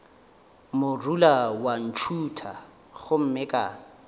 morula wa ntšhutha gomme ka